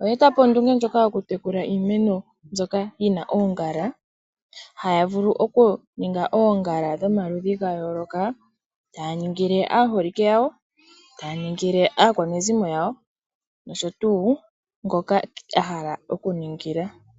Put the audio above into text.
oye etapo ondunge ndjoka yoku tekula iimeno mbyoka yina oongala. Haya vulu oku ninga oongala dhomaludhi gayoloka taya ningile aaholike yawo, taya ningile aakwanezimo yawo noshotuu ngoka ahala oku ningila.